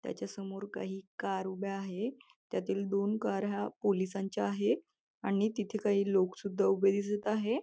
त्याच्यासमोर काही कार उभ्या आहे त्यातील दोन कार हा पोलिसांच्या आहे आणि तिथे काही लोक सुद्धा उभे दिसत आहे.